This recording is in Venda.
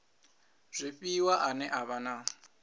zwifhiwa ane a vha na